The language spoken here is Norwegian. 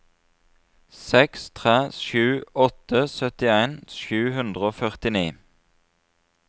seks tre sju åtte syttien sju hundre og førtini